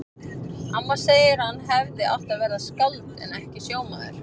Amma segir að hann hefði átt að verða skáld en ekki sjómaður.